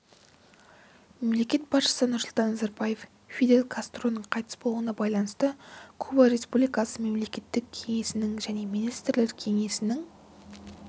мемлекет басшысы нұрсұлтан назарбаев фидель кастроның қайтыс болуына байланысты куба республикасы мемлекеттік кеңесінің және министрлер кеңесінің